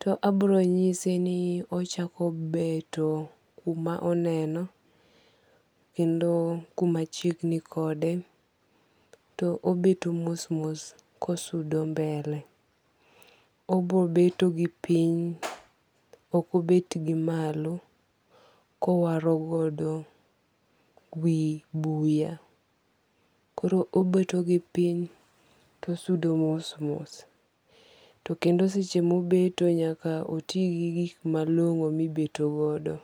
to abiro nyise ni ochako beto kuma oneno. Kendo kuma chiegni kode. To obeto mos mos kosudo mbele. Obobeto gipiny ok obet gi malo kowaro godo wi buya. Koro obeto gi piny to sudo mos mos. To kendo seche mobeto nyaka oti gi gik malong'o mibeto godo.